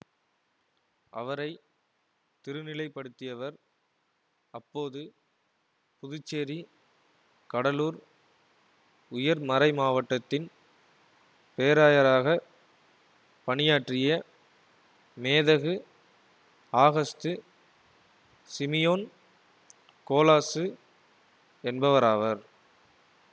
அவரை திருநிலைப்படுத்தியவர் அப்போது புதுச்சேரிகடலூர் உயர் மறைமாவட்டத்தின் பேராயராக பணியாற்றிய மேதகு ஆகஸ்து சிமியோன் கோலாசு என்பவராவர்